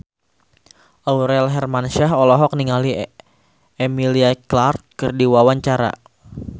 Aurel Hermansyah olohok ningali Emilia Clarke keur diwawancara